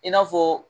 I n'a fɔ